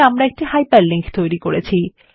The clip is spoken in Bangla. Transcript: আমরা একটি হাইপারলিংক তৈরী করেছি